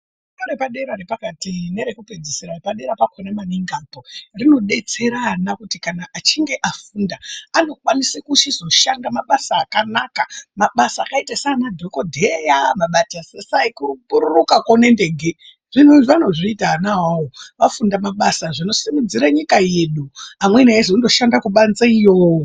Fundorepadera nepakati nerekupedzisira repadera pakona maningi apo, rinodetsera ana kuti achinge afunda anokwanise kuchizoshanda mabasa akanaka. Mabasa akaite saanadhogodheya, mabasa ekupururukako nendege. Zvinhuzvi anozviita ana awawo vafunda mabasa, zvinosimudzire nyika yedu. Amweni eizonoshanda kubanze iyo.